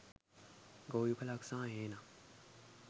ගොවිපලක් සහ හේනක්